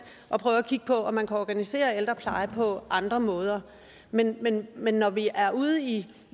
at prøve at kigge på om man kan organisere ældrepleje på andre måder men men når vi er ude i